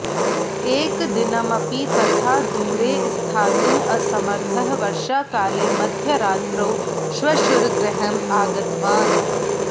एकदिनमपि तथा दूरे स्थातुम् असमर्थः वर्षाकाले मध्यरात्रौ श्वशुरगृहम् आगतवान्